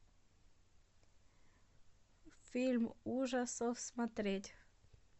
фильм ужасов смотреть